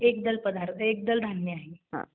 एकदल पदार्थ, एकदल धान्य आहे.